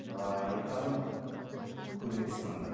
айтарым көмек сұраңдар